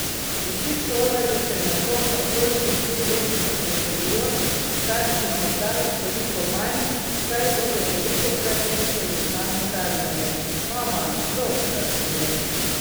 Vsi šolarji se nedvomno prostih dni več kot veselijo, starši morda nekoliko manj, saj bodo velikokrat slišali znano tarnanje: 'Mama, dolgčas mi je!